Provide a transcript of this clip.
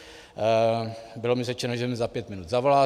Bylo mi řečeno, že mi za pět minut zavolá.